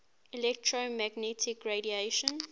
electromagnetic radiation